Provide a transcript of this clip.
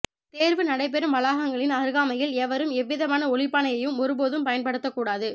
தேர்வு நடைபெறும் வளாகங்களின் அருகாமையில் எவரும் எவ்விதமான ஒலிப்பானையும் ஒரு போதும் பயன்படுத்த கூடாது